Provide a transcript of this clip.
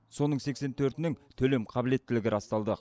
соның сексен төртінің төлем қабілеттілігі расталды